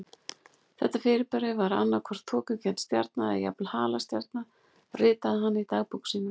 Þetta fyrirbæri var annað hvort þokukennd stjarna eða jafnvel halastjarna ritaði hann í dagbók sína.